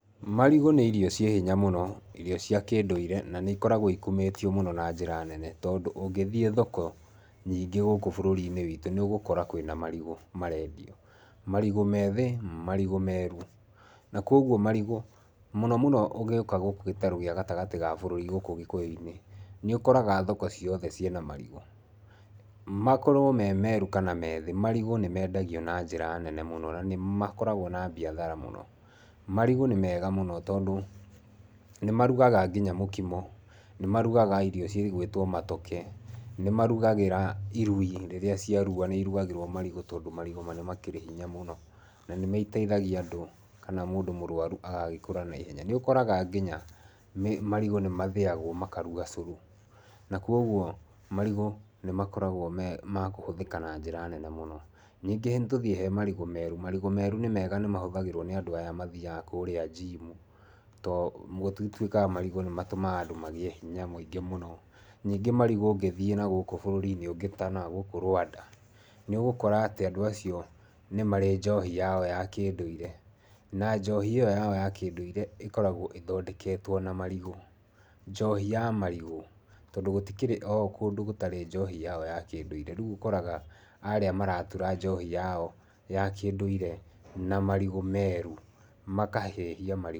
Marigũ nĩ irio ciĩ himya mũno, irio cia kĩndũire, na nĩ ikoragwo ikumĩtio mũno na njĩra nene. Tondũ ũngĩthiĩ thoko nyingĩ gũkũ bũrũri-inĩ witũ ni ũgũkora kwĩna marigũ marendio, marigũ methĩ, marigũ meru. Na kũoguo marigu, mũno mũno ũngĩũka gũkũ gĩtarũ gĩa gatagatĩ ga bũrũri gũkũ gikũyũ-inĩ, nĩ ũkoraga thoko ciothe ciena marigu. Makorwo me meeru kana meethĩ, marigũ nĩ mendagio na njĩra nene mũno na nĩ makoragwo na biathara mũno. Marigũ nĩ mega mũno tondũ nĩmaruragaga nginya mũkimo, nĩmarugaga irio cigwĩtwo matoke. Nĩ marugagĩra irui rĩrĩa ciarua nĩ ĩrugagerwo marigũ tondũ marigũ nĩ makĩrĩ hinya mũno na nĩmateithagia andũ kana mũndũ mũrũaru agagĩkũra na ihenya. Nĩ ũkoraga nginya marigũ nĩ mathĩagwo makaruga ũcũrũ. Na kũoguo marigũ nĩ makoragwo me ma kũhũthĩka na njĩra nene mũno. Ningĩ nĩtũthiĩ he marigũ meeru: Marigũ meeru nĩ mega nimahũthagĩrwo nĩ andũ aya maaiaga kũrĩa njimu. Tondũ gũtwikaga atĩ marigũ nĩ matumaga andũ magĩe hinya mũingĩ mũno. Ningĩ marigũ ũngĩthiĩ nagũkũ bũrũri-inĩ ũngĩ ta nagũkũ Rwanda, nĩ ũgũkora atĩ andũ acio nĩmarĩ njohi yao ya kindũire, na njohi iyo yao ya kĩndũire ikoragwo ithokendeketwo na marigũ. Njohi ya marigũ. Tondũ gũtikĩrĩ andũ matarĩ njohi yao ya kĩndũire rĩu ũkoraga arĩa maratura njohi yao ya kĩnduire na marigũ meru makahĩhia marigũ.